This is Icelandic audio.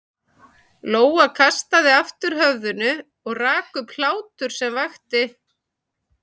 Lóa kastaði aftur höfðinu og rak upp hlátur sem vakti